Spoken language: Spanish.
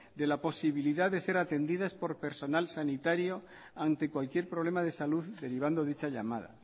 de la posibilidad de ser atendidas por personal sanitario ante cualquier problema de salud derivando dicha llamada